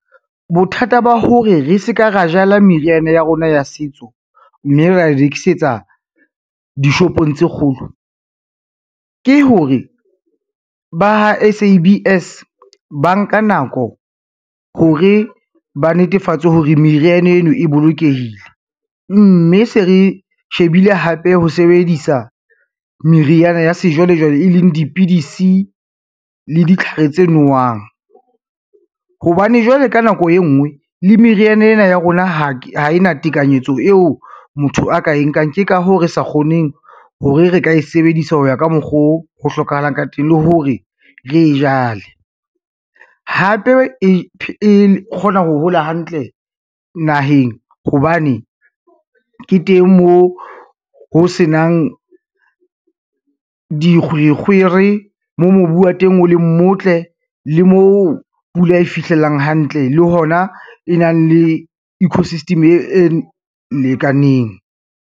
Bothata ba hore re se ka ra jala meriana ya rona ya setso, mme ra e rekisetsa dishopong tse kgolo, ke hore ba ha S_A_B_S ba nka nako hore ba netefatse hore meriana eno e bolokehile, mme se re shebile hape ho sebedisa meriana ya sejwalejwale, e leng dipidisi le ditlhare tse nowang. Hobane jwale ka nako e ngwe le meriana ena ya rona, ha e na tekanyetso eo motho a ka e nkang, ke ka hoo re sa kgoneng hore re ka e sebedisa ho ya ka mokgoo ho hlokahalang ka teng, le hore re e jale. Hape e kgona ho hola hantle naheng hobane ke teng mo ho senang dikgwerekgwere, mo mobu wa teng, o le motle, le moo pula e fihlelang hantle le hona e nang le eco system e lekaneng.